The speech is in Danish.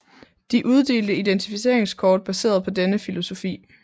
De uddelte identificeringskort baseret på denne filosofi